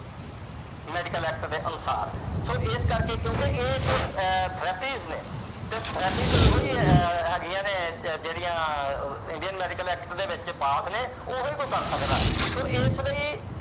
Medical Act ਦੇ ਅਨੁਸਾਰ so ਇਸ ਕਰਕੇ ਕਿਉਂਕਿ ਇਹ ਇਕ therapies ਨੇ ਤੇ therapies ਉਦੋਂ ਹੀ ਹੈਗੀਆਂ ਨੇ ਜਿਹੜੀਆਂ ਆਹ Indian Medical Act ਦੇ ਵਿੱਚ pass ਨੇ। ਉਹੀ ਉਹ ਕਰ ਸਕਦਾ। so ਇਸ ਲਈ